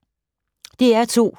DR2